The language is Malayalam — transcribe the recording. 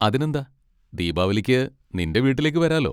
അതിനെന്താ! ദീപാവലിക്ക് നിൻ്റെ വീട്ടിലേക്ക് വരാലോ.